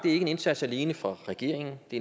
indsats alene for regeringen det